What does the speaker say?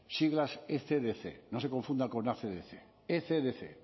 siglas ecdc no se confundan con acdc ecdc